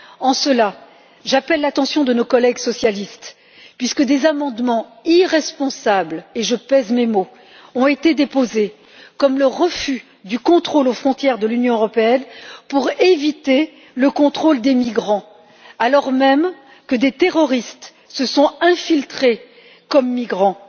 En cela, j'appelle l'attention de nos collègues socialistes puisque des amendements irresponsables et je pèse mes mots ont été déposés, comme le refus du contrôle aux frontières de l'Union européenne pour éviter le contrôle des migrants alors même que des terroristes se sont infiltrés comme migrants.